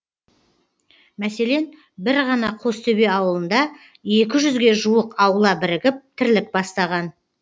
мәселен бір ғана қостөбе ауылында екі жүзге жуық аула бірігіп тірлік бастаған